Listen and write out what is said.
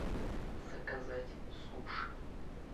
заказать суши